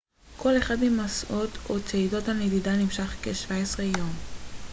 כל אחד ממסעות או צעידות הנדידה נמשך כ-17 יום